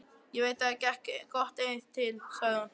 Ég veit að þér gekk gott eitt til, sagði hún.